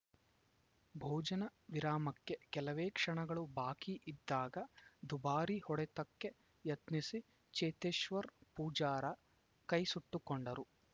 ಭೋಜನ ವಿರಾಮಕ್ಕೆ ಕೆಲವೇ ಕ್ಷಣಗಳು ಬಾಕಿ ಇದ್ದಾಗ ದುಬಾರಿ ಹೊಡೆತಕ್ಕೆ ಯತ್ನಿಸಿ ಚೇತೇಶ್ವರ್‌ ಪೂಜಾರ ಕೈಸುಟ್ಟುಕೊಂಡರು